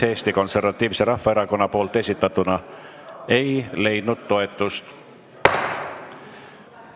Eesti Konservatiivse Rahvaerakonna esitatud muudatusettepanek nr 35 ei leidnud toetust.